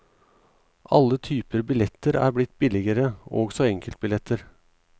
Alle typer billetter er blitt billigere, også enkeltbilletter.